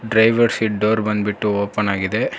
Driver seat door ಬಂದ್ಬಿಟ್ಟು open ಆಗಿದೆ.